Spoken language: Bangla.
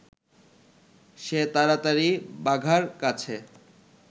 সে তাড়াতাড়ি বাঘার কাছে